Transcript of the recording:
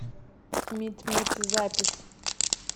митмит запись